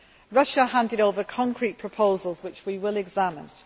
Russia handed over concrete proposals, which we will examine.